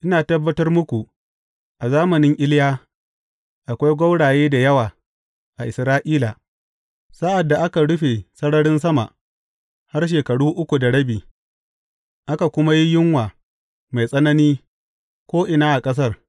Ina tabbatar muku a zamanin Iliya, akwai gwauraye da yawa a Isra’ila, sa’ad da aka rufe sararin sama har shekara uku da rabi, aka kuma yi yunwa mai tsanani ko’ina a ƙasar.